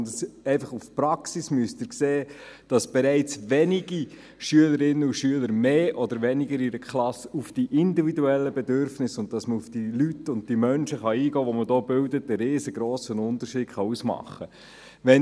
In der Praxis sehen Sie, dass bereits wenige Schülerinnen und Schüler mehr oder weniger in einer Klasse auf die Möglichkeit, auf die einzelnen Individuen einzugehen, einen riesigen Unterschied ausmachen können.